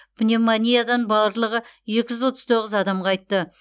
пневмониядан барлығы екі жүз отыз тоғыз адам қайтты